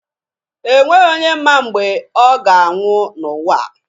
E nweghi onye ma mgbe ọ ga-anwụ n'ụwa a.